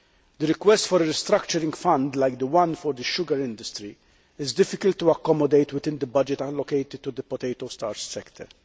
The request for a restructuring fund like the one in the sugar industry is difficult to accommodate within the budget allocated to the potato starch sector.